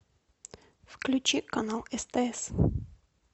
включи канал стс